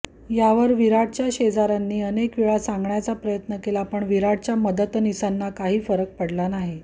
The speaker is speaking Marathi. यावर विराटच्या शेजाऱ्यांनी अनेक वेळा सांगण्याचा प्रयत्न केला पण विराटच्या मदतनिसांना काही फरक पडला नाही